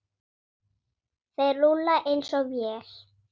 Þeir rúlla eins og vél.